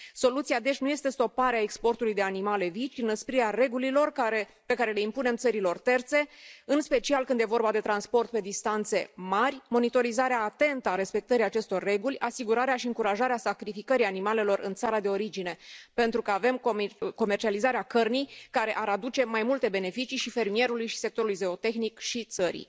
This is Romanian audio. Soluția, deci, nu este stoparea exportului de animale vii, ci înăsprirea regulilor pe care le impunem țărilor terțe, în special când este vorba de transport pe distanțe mari, monitorizarea atentă a respectării acestor reguli, asigurarea și încurajarea sacrificării animalelor în țara de origine, pentru că avem comercializarea cărnii, care ar aduce mai multe beneficii și fermierului, și sectorului zootehnic, și țării.